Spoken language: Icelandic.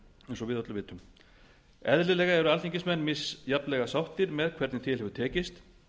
eins og við öll vitum eðlilega eru alþingismenn misjafnlega sáttir með hvernig til hefur tekist